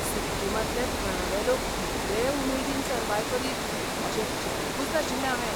सिक्किमांतले थळावे लोक इतले उमेदीन सरबाय करीत अशें चिंतूंकुच नाशिल्लें हावें.